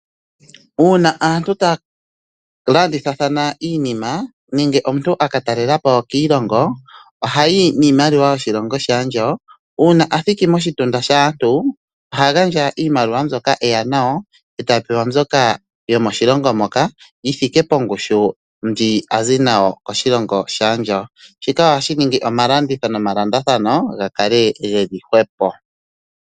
Uuna aantu taya landithathana iinima nenge omuntu aka talelapo kiilongo , ohayi niimaliwa yoshilongo shaandjawo . Uuna athiki moshitunda shaantu oha gandja iimaliwa mbyoka eya nayo, eta pewa mbyoka yomoshilongo moka yithike pongushu ndji azi nayo koshilongo shaandjawo. Shika ohashi omalandithilo nomalandulathano gakale geli hwepo.